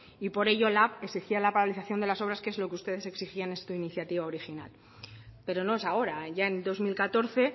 y por ello lab exigía la paralización de las obras que es lo que ustedes exigían esto en su iniciativa original pero no es ahora ya en dos mil catorce